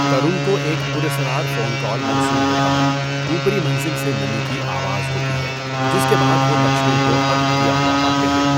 ترون کو ایک پراسرار فون کال موصول ہوتا ہے، اوپری منزل سے نمی کی آواز ہوتی ہے، جس کے بعد وہ لکشمن کو قتل کیا ہوا پاتے ہیں۔